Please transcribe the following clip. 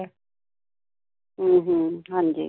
ਹਮ ਹਮ ਹਾਂ ਜੀ।